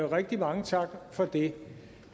rigtig mange tak for det